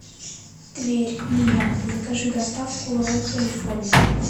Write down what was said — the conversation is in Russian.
тверь нияма закажи доставку ролл калифорния